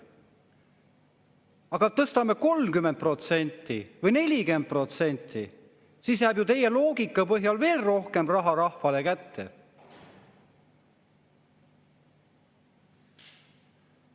Aga tõstame 30% või 40%, siis jääb ju teie loogika põhjal veel rohkem raha rahvale kätte.